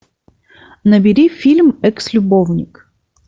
набери фильм экс любовник